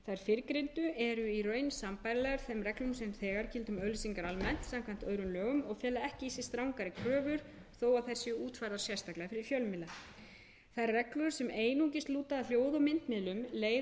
fyrrgreindu eru í raun sambærilegar þeim reglum sem þegar gilda um auglýsingar almennt samkvæmt öðrum lögum og fela ekki í sér strangari kröfur þó að þær séu útfærðar sérstaklega fyrir fjölmiðla þær reglur sem einungis lúta að hljóð og myndmiðlum leiða af sérstöku eðli þeirrar